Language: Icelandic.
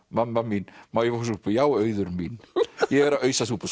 mamma mín má ég fá súpu já Auður mín ég er að ausa súpu